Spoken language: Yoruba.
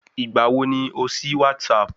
Ìgbà wo ni o sí WhatsApp?